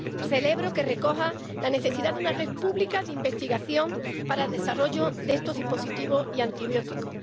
Celebro que recoja la necesidad de una red pública de investigación para el desarrollo de estos dispositivos y antibióticos